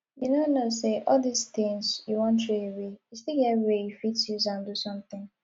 you no know say all dis things you wan throway e still get way you fit use am do something